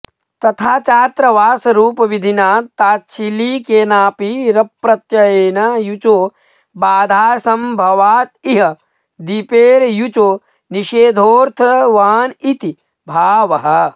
तथा चाऽत्र वासरूपविधिना ताच्छीलिकेनापि रप्रत्ययेन युचो बाधासंभवादिह दीपेर्युचो निषेधोऽर्थवानिति भावः